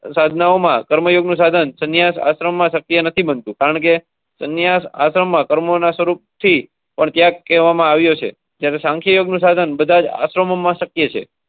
સદનોમાં કર્મયોગનું સાધન સન્યાસ આશ્રમમાં શક્તિ. કન્યા આશ્રમમાં કર્મોના શરૂ. ત્યાં કહેવામાં આવ્યું. સંખ્યાનું સાધન બધા જ આશ્રમમાં શક્ય.